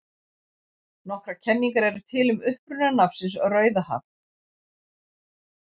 Nokkrar kenningar eru til um uppruna nafnsins Rauðahaf.